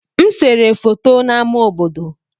M sere foto n'ámá obodo.